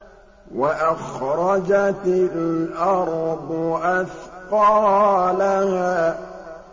وَأَخْرَجَتِ الْأَرْضُ أَثْقَالَهَا